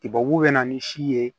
Tibabu bɛ na ni si ye